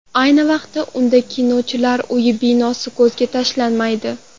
Ayni vaqtda, unda Kinochilar uyi binosi ko‘zga tashlanmaydi.